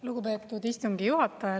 Lugupeetud istungi juhataja!